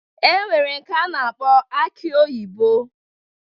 E nwere nke a na-akpọ aki oyibo.